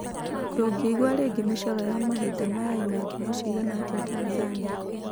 Ndũngĩ igua rĩngĩ mĩcoro ya mahinda maya ĩna ngumo ciigana atĩa Tanzania